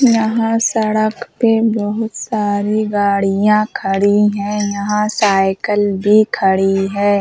यहाँ सड़क पे बहोत सारी गाड़ियाँ खड़ी हैं। यहाँ साइकिल भी खड़ी है।